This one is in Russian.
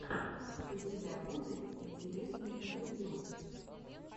у тебя будет интересные интервью